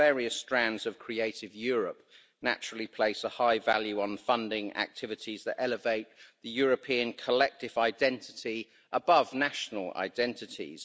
The various strands of creative Europe naturally place a high value on funding activities that elevate the European collective identity above national identities.